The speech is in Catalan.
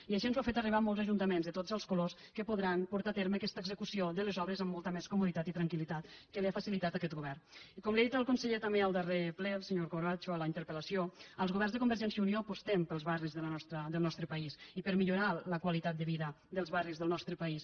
i així ens ho han fet arribar molts ajun·taments de tots els colors que podran portar a terme aquesta execució de les obres amb molta més como·ditat i tranquili com li ha dit el conseller també al darrer ple al se·nyor corbacho a la interpelvergència i unió apostem pels barris del nostre país i per millorar la qualitat de vida dels barris del nostre país